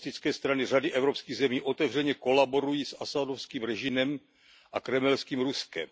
Komunistické strany řady evropských zemí otevřeně kolaborují s Asadovým režimem a kremelským Ruskem.